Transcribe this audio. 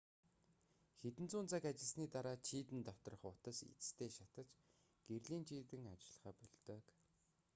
хэдэн зуун цаг ажилласаны дараа чийдэн доторх утас эцэстээ шатаж гэрлийн чийдэн ажиллахаа больдог